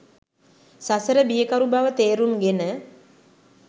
සසර බියකරු බව තේරුම්ගෙන